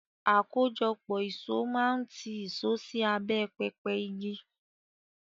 Àkójọpọ̀ ìṣó máa ń tì ìṣó sí abẹ́ pẹpẹ igi.